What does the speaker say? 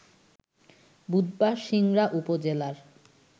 বুধবার সিংড়া উপজেলার